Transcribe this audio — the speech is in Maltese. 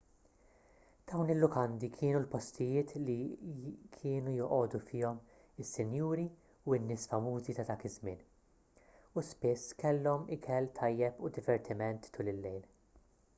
dawn il-lukandi kienu l-postijiet li jienu joqogħdu fihom is-sinjuri u n-nies famużi ta' dak iż-żmien u spiss kellhom ikel tajjeb u divertiment tul il-lejl